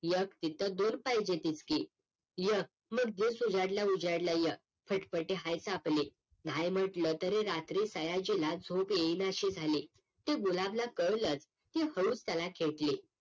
एक तिथं दोन पाहिजेतच कि एक मग दिवस उजेडल्या उजेडल्या य फटफटी आहेच आपली नाही म्हटलं तरी रात्री सयाजीला झोप येणाशी झाली तो गुलाबला कळलच ती हळूच त्याला खेटली